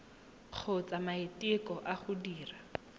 kgotsa maiteko a go dira